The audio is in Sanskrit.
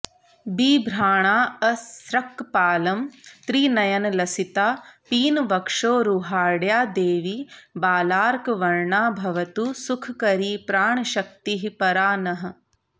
बिभ्राणाऽसृक्कपालं त्रिनयनलसिता पीनवक्षोरुहाढ्या देवी बालार्कवर्णा भवतु सुखकरी प्राणशक्तिः परा नः